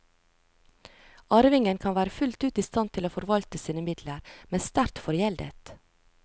Arvingen kan være fullt ut i stand til å forvalte sine midler, men sterkt forgjeldet.